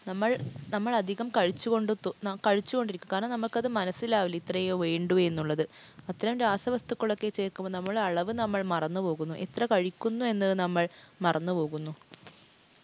നമ്മൾ അധികം കഴിച്ചുകൊണ്ടിരിക്കും. കാരണം നമുക്കത് മനസിലാകില്ല ഇത്രയേ വേണ്ടു എന്നുള്ളത്. അത്തരം രാസ വസ്തുക്കൾ ഒക്കെ ചേർക്കുമ്പോൾ നമ്മുടെ അളവ് നമ്മൾ മറന്നു പോവുന്നു. എത്ര കഴിക്കുന്നു എന്നത് നമ്മൾ മറന്നു പോവുന്നു.